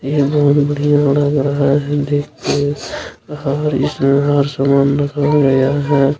यह बहुत ही बढ़ियां लग रहा है देखके और इसमें आर सामन रखा गया है|